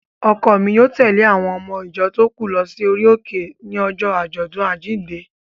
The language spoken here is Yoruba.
Ọkọ mi yóò tèlé àwon ọmọ ìjọ tó kù lọ sí orí òkè ní ọjọ́ ọdún àjínde